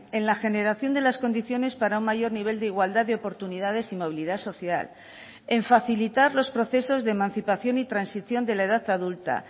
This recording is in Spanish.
en la generación de las condiciones para un mayor nivel de igualdad de oportunidades y movilidad social en facilitar los procesos de emancipación y transición de la edad adulta